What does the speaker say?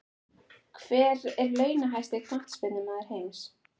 Hver er launahæsti Knattspyrnumaður heims?